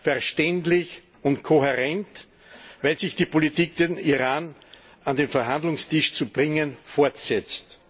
Verständlich und kohärent, wenn sich die Politik, den Iran an den Verhandlungstisch zu bringen, fortsetzt.